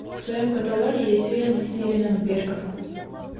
в твоем каталоге есть фильм с стивеном беркоффом